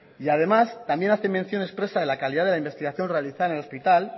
y además también hace mención expresa de la calidad de la investigación realizada en el hospital